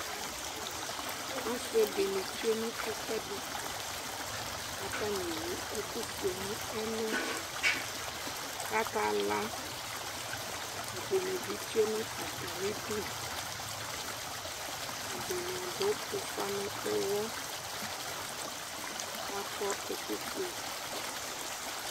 Asɩ dɩnɩ tsue nʋ ɛfʋɛdɩ, katanɩ ewu ɛkʋ fue nʋ ɛlʋ kaka la, ɛdɩnɩ bɩ tsue nʋ atamɩdu, ɛdɩnɩ adʋ ʋfa nʋ ʋwɔ kakɔ ɛkʋ fue